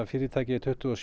fyrirtækið er tuttugu og